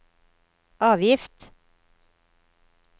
avgift